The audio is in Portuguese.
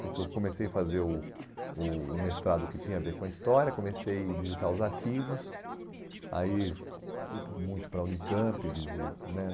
Porque eu comecei a fazer o o o mestrado que tinha a ver com a história, comecei a visitar os arquivos, aí fui muito para a Unicamp, visi, né?